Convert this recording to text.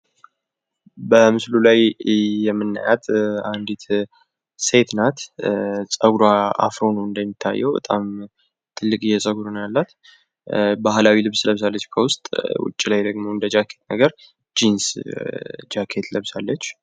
በምስሉ ላይ የምናያት አንዲት ሴት ናት። ጸጉሯ አፍሮ ነው እንደሚታየው በጣም ትልቅዬ ጸጉር ነው ያላት። ባህላዊ ልብስ ለብሳለች ከውስጥ ውጭ ላይ ደግሞ እንደጃኬት ነገር ጂንስ ለብሳለች።